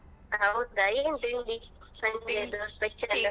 ಹೌದಾ ಏನ್ ತಿಂಡಿ Sunday special ಉ.